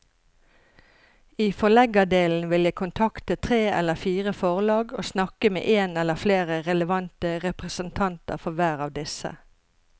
I forleggerdelen vil jeg kontakte tre eller fire forlag og snakke med en eller flere relevante representanter for hver av disse.